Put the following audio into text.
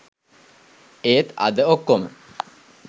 ඒත් අද ඔක්කොම